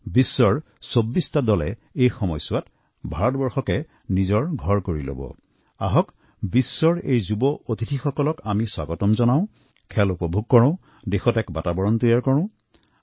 আহক বিশ্বৰ বিভিন্ন স্থানৰ পৰা অহা আমাৰ তৰুণ অতিথিসকলক খেলৰ সমান্তৰালভাৱে তেওঁলোকক আদৰণি জনাও খেল উপভোগ কৰি দেশত এক উপযুক্ত পৰিৱেশৰ সৃষ্টি কৰোঁ